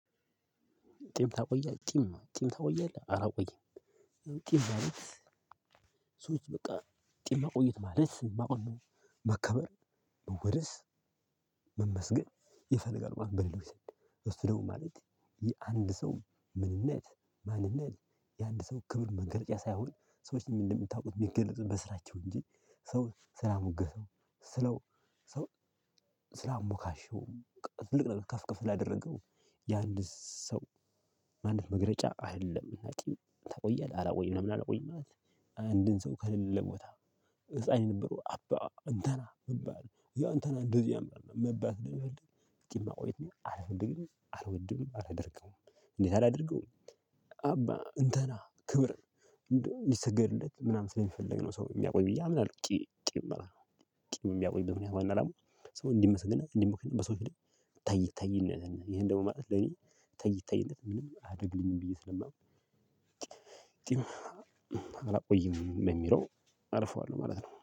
ጢም ታቆያለህ? ጢም ጢም ታቆያለህ? አላቆይም። ጢም ማለት ሰዎች በቃ ጢም ማቆየት ማለት ማወቅ፣ መከበር፣ መወደስ መመስገን ይፈልጋል ማለት ነው፥ በሌሎች ዘንድ። እሱ ደግሞ ማለት፥ የአንድ ሰው ምንነት፣ ማንነት፣ የአንድ ሰው ክብር መገለጫ ሳይሆን፥ ሰዎችን እንደምታውቁት ሚገለጹት በስራቸው እንጂ ሰው ስላሞገሰው ስለው ሰው ስላሞካሸውም ትልቅ ነገር ከፍ ከፍ ላደረገው የአንድ ሰው ማንነት መግለጫ አይደለም። እና ጢም ታቆያለህ? አላቆይም ለምን አላቆይም ማለት አንድን ሰው ከሌለ ቦታ ህፃን የነበሩ አባ እንትና መባል ያ እንትና እንደዚያ ምናምን መባል ጢም ማቆየት እኔ አልፈልግም አልወድም፣ አላደርገውም። እንዴት አላደርገውም አባ እንትና ክብር እንደው እንዲሰገድለት ምናምን ስለሚፈልግ ነው ሰው የሚያቆይ ብዬ አምናለሁ፥ ጢም ጢም ማለት ነው። ጢም ሚያቆይበት ዋና አላማው ሰው እንዲመሰግንበት እንዲሞካሽበት በሰው ፊት እታይ እታይ ይሄን ደግሞ ማለት ለኔ እታይ እታይነት ምንም አያደርግልኝም ብዬ ስለማውቅ አላቆይም በሚለው አልፈዋለሁ ማለት ነው።